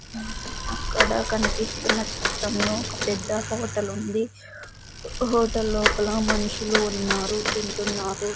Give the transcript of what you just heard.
అక్కడ కనిపిస్తున్న చిత్రంలో ఒక పెద్ద హోటలు ఉంది హోటల్ లోపల మనుషులు ఉన్నారు తింటున్నారు.